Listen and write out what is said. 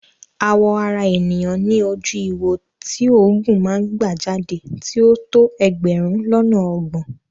Àwọ̀ ara ènìyàn ní ojú ihò tí òógùn máa ń gbà jáde tí ó tó ẹgbẹ̀rún lọ́nà ọgbọ̀n.